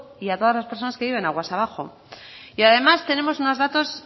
y a todas las personas que viven aguas abajo y además tenemos unos datos